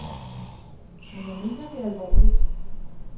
Men jeg mener det alvorligt.